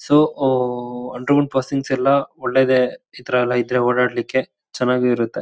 So ಓಓಓ underground ಪಾಸಿಂಗಸ್ ಎಲ್ಲಾ ಒಳ್ಳೇದೇ ಇತರೇಲ್ಲ ಇದ್ರೆ ಓಡಾಡ್ಲಿಕೆ ಚೆನ್ನಾಗು ಇರತ್ತೆ .